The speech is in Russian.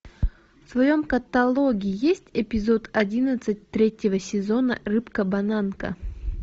в твоем каталоге есть эпизод одиннадцать третьего сезона рыбка бананка